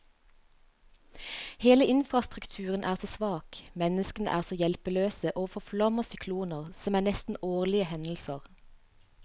Hele infrastrukturen er så svak, menneskene er så hjelpeløse overfor flom og sykloner, som er nesten årlige hendelser.